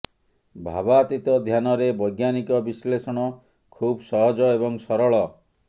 ଭାବାତୀତ ଧ୍ୟାନରେ ବୈଜ୍ଞାନିକ ବିଶ୍ଳେଷଣ ଖୁବ୍ ସହଜ ଏବଂ ସରଳ